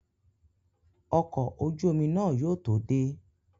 Ọkọ̀ ojú omi náà yóò tó dé